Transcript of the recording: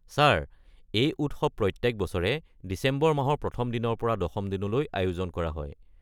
Sir, এই উৎসৱ প্ৰত্যেক বছৰে ডিচেম্বৰ মাহৰ প্ৰথম দিনৰ পৰা দশম দিনলৈ আয়োজন কৰা হয়।